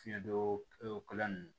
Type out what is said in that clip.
Fiɲɛ don o